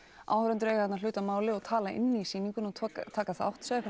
áhorfendur eiga þarna hlut að máli og tala inn í sýninguna og taka þátt segðu